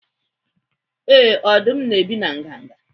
Ee, ọdụm na-ebi na nganga.